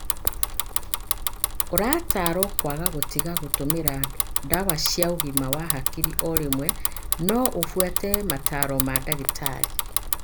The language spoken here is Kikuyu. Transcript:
Ũrataarwo kwaga gũtiga gũtũmĩra ndawa cia ũgima wa hakiri o rĩmwe, no ũbuate motaaro ma ndagĩtarĩ.